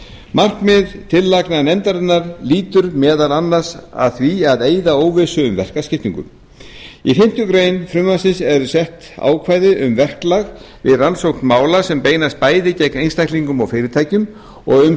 markmið tillagna nefndarinnar lýtur meðal annars að því að eyða óvissu um verkaskiptingu í fimmtu grein frumvarpsins eru sett ákvæði um verklag við rannsókn mála sem beinast bæði gegn einstaklingum og fyrirtækjum og um